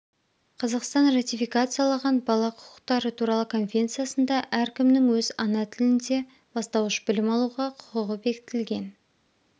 қазақстан ратификациялаған бала құқықтары туралы конвенциясында әркімнің өз ана тілінде бастауыш білім алуға құқығы бекітілген